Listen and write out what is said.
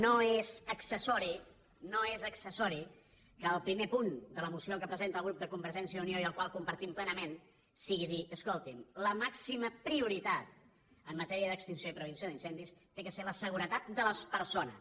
no és accessori no és accessori que el primer punt de la moció que presenta el grup de convergència i unió i el qual compartim plenament sigui dir escoltin la màxima prioritat en matèria d’extinció i prevenció d’incendis ha de ser la seguretat de les persones